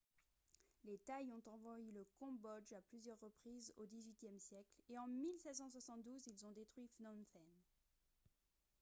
les thaïs ont envahi le cambodge à plusieurs reprises au xviiie siècle et en 1772 ils ont détruit phnom phen